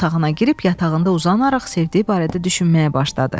Otağına girib yatağında uzanaraq sevdiyi barədə düşünməyə başladı.